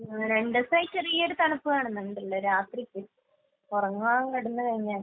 രണ്ട് ദിവസായിട്ട് ചെറിയൊരു തണുപ്പ് കാണുന്നുണ്ട് രാത്രിയിൽ. ഉറങ്ങാൻ കിടന്ന് കഴിഞ്ഞാൽ.